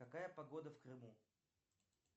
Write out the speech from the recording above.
какая погода в крыму